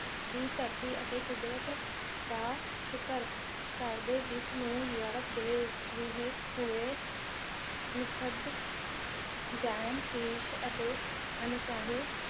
ਦੀ ਧਰਤੀ ਅਤੇ ਕੁਦਰਤ ਦਾ ਸ਼ੁਕਰ ਕਰਦੇ ਜਿਸ ਨੂੰ ਯੋਰਪ ਰੁਹੇ ਹੂਏ ਨੀਠੱਗ ਜਾਇਮ ਪੇਸ਼ ਅਤੇ ਅਣਚਾਹੇ